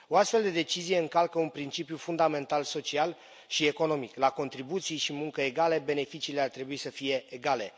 O astfel de decizie încalcă un principiu fundamental social și economic la contribuții și muncă egale, beneficiile ar trebui să fie egale.